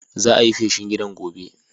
Za'a yi feshin gidan gobe.